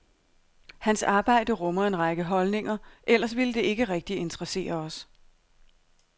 Hans arbejde rummer en række holdninger, ellers ville det ikke rigtig interessere os.